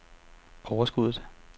overskuddet